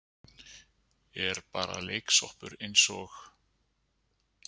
Er bara leiksoppur eins og